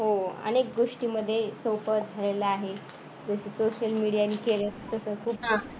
हो अनेक गोष्टींमध्ये सोप्प झालेल आहे. जस social media ने केलं तस पुन्हा